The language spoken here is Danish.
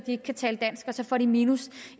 ikke kan tale dansk og så får de minus